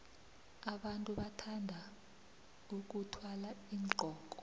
abantu bathanda vkuthwala iinqoko